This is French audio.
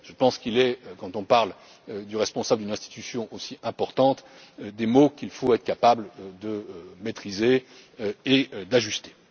Je pense qu'il est, quand on parle du responsable d'une institution aussi importante, des mots qu'il faut être capable de maîtriser et d'ajuster.